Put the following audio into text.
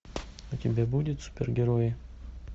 у тебя будет супергерои